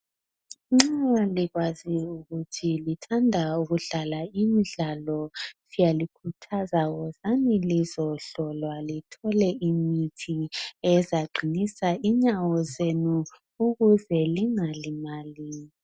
Nxa likwazi ukuthi lithanda ukudlala imidlalo siyalikhuthaza wozani lizohlolwa lithole imithi ezaqinisa inyawo zenu ukuze lingalimali